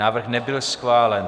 Návrh nebyl schválen.